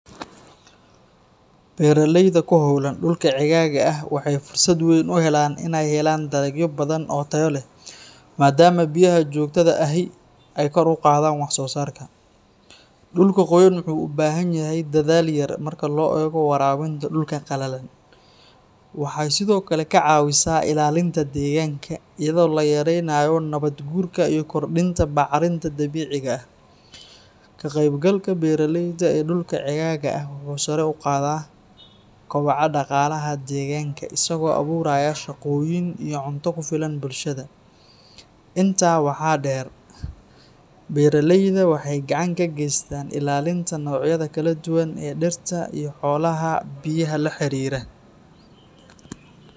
Beeralayda ku hawlan dhulka ceegaaga ah waxay fursad weyn u helaan inay helaan dalagyo badan oo tayo leh, maadaama biyaha joogtada ahi ay kor u qaadaan wax-soosaarka. Dhulka qoyan wuxuu u baahan yahay dadaal yar marka loo eego waraabinta dhulka qalalan. Waxay sidoo kale ka caawisaa ilaalinta deegaanka, iyadoo la yaraynayo nabaad guurka iyo kordhinta bacrinta dabiiciga ah. Ka qaybgalka beeraleyda ee dhulka ceegaaga ah wuxuu sare u qaadaa kobaca dhaqaalaha deegaanka, isagoo abuuraya shaqooyin iyo cunto ku filan bulshada. Intaa waxaa dheer, beeralayda waxay gacan ka geystaan ilaalinta noocyada kala duwan ee dhirta iyo xoolaha biyaha la xiriira.